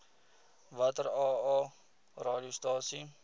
watter aa radiostasies